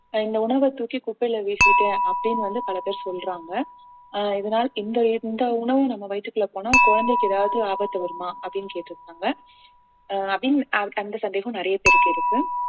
ஆஹ் இந்த உணவை தூக்கி குப்பையில வீசிட்டேன் அப்படின்னு வந்து பல பேர் சொல்றாங்க ஆஹ் இதனால் இந்த இந்த உணவு நம்ம வயித்துக்குள்ள போனா குழந்தைக்கு எதாவது ஆபத்து வருமா அப்படின்னு கேட்டிருந்தாங்க அஹ் அப்படின்~ ஆஹ் அந்த சந்தேகம் நிறைய பேருக்கு இருக்கு